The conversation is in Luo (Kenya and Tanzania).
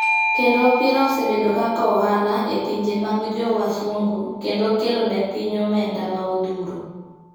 Kendo opira osebedo kaka ohala e pinje mag jo wasungu kendo okelo ne piny omenda ma odhuro.